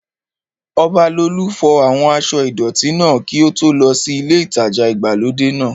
Ọbalolú fọ àwọn aṣọ́ ìdọ̀tí náà kí ó tó lọ sí ilé ìtajà ìgbàlódé náà